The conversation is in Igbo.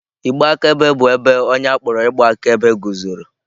Igbe akaebe bụ ebe onye a kpọrọ ịgba akaebe guzoro.